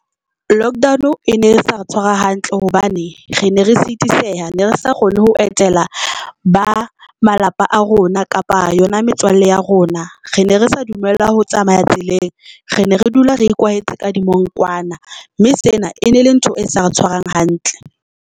Lockdown e ne sa re tshwara hantle hobane re ne re sitiseha, ne re sa kgone ho etela ba malapa a rona kapa yona metswalle ya rona, re ne re sa dumellwa ho tsamaya tseleng re ne re dula re ikwaetse ka dimongkwana mme sena e ne le ntho e sa re tshwarang hantle.